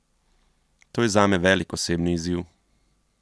To je zame velik osebni izziv.